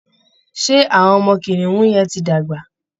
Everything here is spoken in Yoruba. Ṣé àwọn ọmọ kìnìún yẹn ti dàgbà?